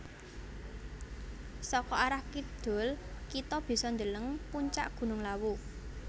Saka arah kidul kita bisa deleng puncak gunung Lawu